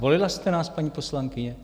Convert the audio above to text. Volila jste nás, paní poslankyně?